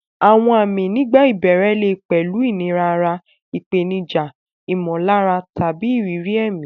Àwọn àmì nígbà ìbẹ̀rẹ̀ lè pẹ̀lú ìnira ara, ìpèníjà ìmọ̀lára, tàbí ìrírí ẹ̀mí.